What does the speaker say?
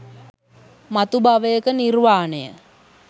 මතු භවයක නිර්වාණය